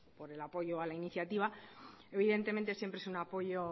por el apoyo a la iniciativa evidentemente siempre es un apoyo